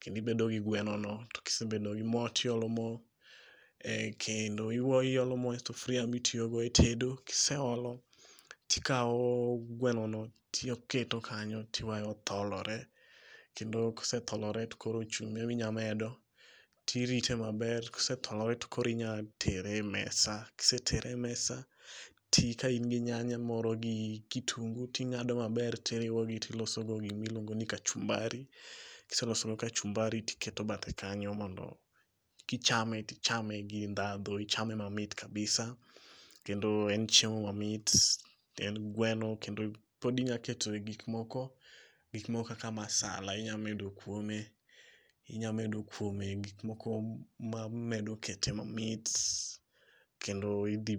kendo ibedo gi gweno no, to kisebedo gi moo tiolo moo ei kendo, iolo moo e sufria mitiyo go e tedo, kiseolo tikao gweno no tiketo kanyo tiweyo tholore kendo kosetholore to koro chumbi ema inya medo tirite maber ,kosetholore tokoro inya tere e mesa, kisetere e mesa to ka in gi nyanya moro gi kitungu tingado maber tiloso gima iluongo ni kachumbari, kiseloso kachumbari tiketo bathe kano mond kichame, tichame gi ndhandhu ichame mamit kabisa kendo en chiemo mamit, tiend gweno kendo pod inya keto gik moko, gik moko kaka masala inya medo kuome, inya medo kuome gik moko manya kete mamit kendo idhi